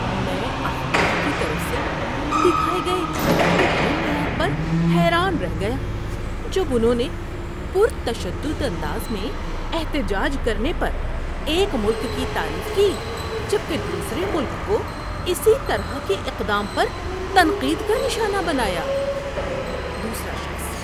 میں اخبار کی طرف سے دکھائے گئے دوہرے معیار پر حیران رہ گیا جب انہوں نے پرتشدد انداز میں احتجاج کرنے پر ایک ملک کی تعریف کی جبکہ دوسرے ملک کو اسی طرح کے اقدام پر تنقید کا نشانہ بنایا۔ (دوسرا شخص)